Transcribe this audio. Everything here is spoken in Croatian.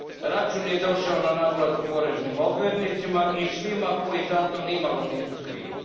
Račun je došao na naplatu poreznim obveznicima i svima koji za to nimalo nisu krivi.